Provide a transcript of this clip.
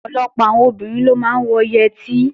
Ọ̀pọ̀lọpọ̀ àwọn obìnrin ló máa ń wọ yẹtí